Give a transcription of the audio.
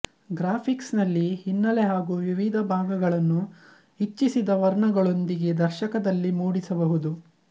graphics ನಲ್ಲಿ ಹಿನ್ನಲೆ ಹಾಗೂ ವಿವಿಧ ಭಾಗಗಳನ್ನು ಇಚ್ಚಿಸಿದ ವರ್ಣಗಳೊಂದಿಗೆ ದರ್ಶಕದಲ್ಲಿ ಮೂಡಿಸಬಹುದು